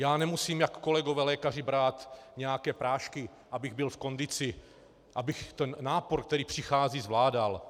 Já nemusím, jak kolegové lékaři, brát nějaké prášky, abych byl v kondici, abych ten nápor, který přichází, zvládal.